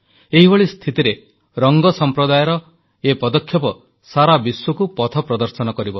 ଏଇଭଳି ସ୍ଥିତିରେ ରଙ୍ଗ ସମ୍ପ୍ରଦାୟର ଏହି ପଦକ୍ଷେପ ସାରା ବିଶ୍ୱକୁ ପଥ ପ୍ରଦର୍ଶନ କରିବ